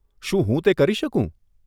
શું હું તે કરી શકું?